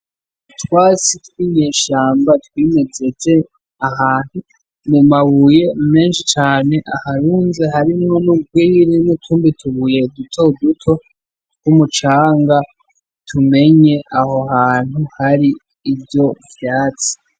Utwatsi tw'inyeshamba twimejeje ahantu mu mabuye menshi cane aharunze harimwo n'urwiri n'utundi tubuye dutoduto tw'umucanga tumenye aho hantu hari ivyo vyatsi